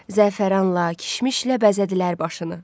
Zəfəranla, kişmişlə bəzədilər başını.